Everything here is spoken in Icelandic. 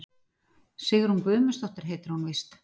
Sigrún Guðmundsdóttir heitir hún víst.